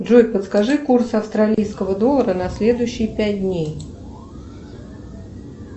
джой подскажи курс австралийского доллара на следующие пять дней